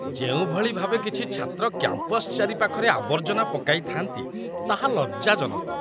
ଯେଉଁଭଳି ଭାବେ କିଛି ଛାତ୍ର କ୍ୟାମ୍ପସ ଚାରିପାଖରେ ଆବର୍ଜନା ପକାଇ ଥାଆନ୍ତି, ତାହା ଲଜ୍ଜାଜନକ।